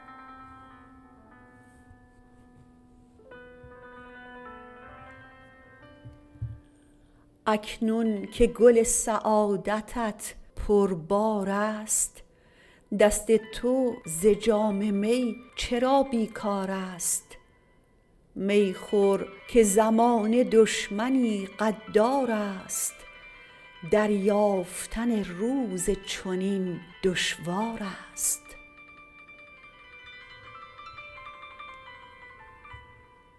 اکنون که گل سعادتت پربار است دست تو ز جام می چرا بیکار است می خور که زمانه دشمنی غدار است دریافتن روز چنین دشوار است